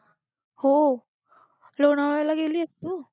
हो, लोणावळ्याला गेलीयेस तू?